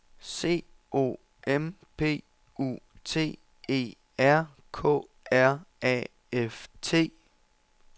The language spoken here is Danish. C O M P U T E R K R A F T